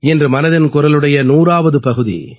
இன்று மனதின் குரலுடைய 100ஆவது பகுதி